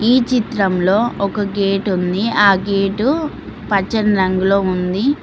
ఈ చిత్రంలో ఒక గేట్ ఉంది ఆ గేటు పచ్చని రంగులో ఉంది.